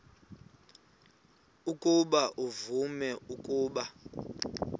ukuba uvume ukuba